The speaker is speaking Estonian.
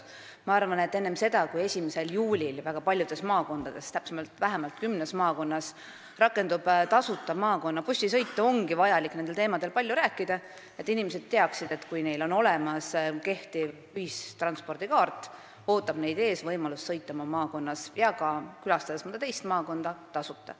Ma arvan, et enne seda, kui 1. juulil väga paljudes maakondades, täpsemalt vähemalt kümnes maakonnas rakendub tasuta bussisõit, ongi vaja nendel teemadel palju rääkida, et inimesed teaksid: kui neil on olemas kehtiv ühistranspordikaart, ootab neid ees võimalus sõita oma maakonnas ja külastada ka mõnda teist maakonda tasuta.